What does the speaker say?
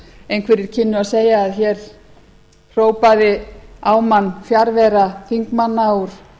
einhverjir kynnu að segja að hér hrópaði á mann fjarvera þingmanna úr